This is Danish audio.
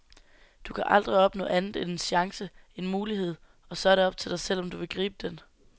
Du kan aldrig opnå andet end en chance, en mulighed, så er det op til dig selv om du vil gribe den.